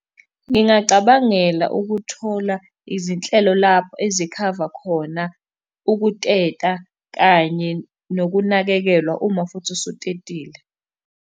Ngingacabangela ukuthola izinhlelo lapho ezikhava khona ukuteta kanye nokunakekelwa uma futhi usutetile.